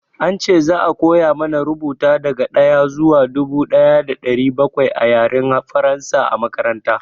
An ce za a koya mana rubuta daga ɗaya zuwa dubu ɗaya da ɗari bakwai a Yaren Faransa a makaranta.